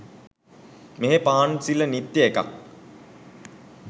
මේ පහන් සිළ නිත්‍ය එකක්